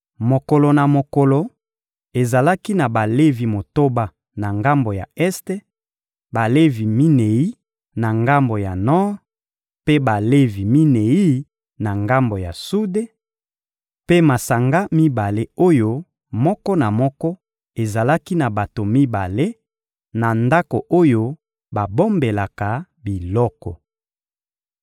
mokolo na mokolo, ezalaki na Balevi motoba na ngambo ya este, Balevi minei na ngambo ya nor, mpe Balevi minei na ngambo ya sude; mpe masanga mibale oyo moko na moko ezalaki na bato mibale, na ndako oyo babombelaka biloko.